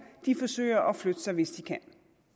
forsøger at flytte sig hvis de kan